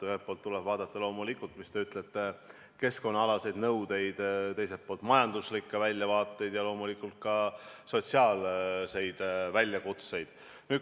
Ühelt poolt tuleb vaadata loomulikult, nagu te ütlete, keskkonnaalaseid nõudeid, teiselt poolt majanduslikke väljavaateid ja loomulikult ka sotsiaalseid väljakutseid.